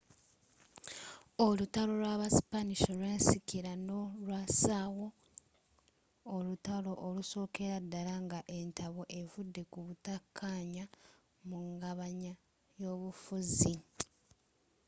olutalo lw'aba spanish olwensikirano lwasaawo olutaalo olusookera ddala nga entabo evudde ku butakkaanya mu ngabanya y'obufuzi